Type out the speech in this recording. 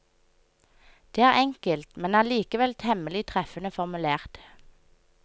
Det er enkelt, men allikevel temmelig treffende formulert.